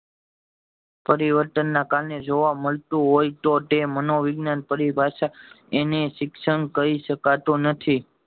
પરિવર્તન ને કારણે જોવા મળતું હોય તો તે મનોવિજ્ઞાન પરિભાષા એને શિક્ષણ કય શકાતું નથી